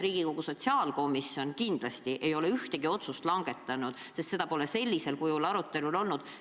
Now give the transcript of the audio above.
Riigikogu sotsiaalkomisjon ei ole kindlasti ühtegi otsust langetanud, sest seda pole sellisel kujul arutelul olnud.